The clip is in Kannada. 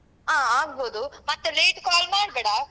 ಹ ಆಗ್ಬೋದು ಮತ್ತೆ late call ಮಾಡ್ಬೇಡ.